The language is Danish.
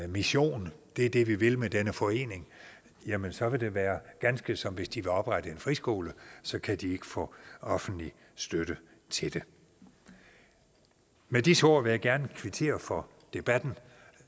mission det er det vi vil med denne forening jamen så vil det være ganske som hvis de vil oprette en friskole så kan de ikke få offentlig støtte til det med disse ord vil jeg gerne kvittere for debatten